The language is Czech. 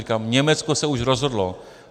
Říkám, Německo se už rozhodlo.